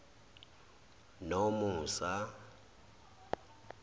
nomusa